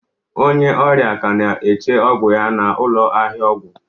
Onye ọrịa ka na-eche ọgwụ ya n'ụlọ ahịa ọgwụ